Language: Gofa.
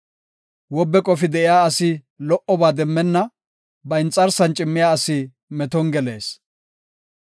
Wobe qofi de7iya asi lo77oba demmenna; ba inxarsan cimmiya asi meton gelees.